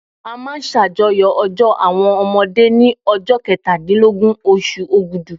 A máa ṣàjọyọ̀ ọjọ́ àwọn ọmọdé ní ọjọ́ kẹtàdínlógún oṣù Ògùdú.